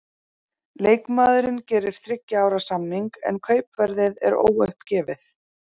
Leikmaðurinn gerir þriggja ára samning, en kaupverðið er óuppgefið.